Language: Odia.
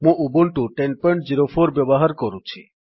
ମୁଁ ଉବୁଣ୍ଟୁ 1004 ବ୍ୟବହାର କରୁଛି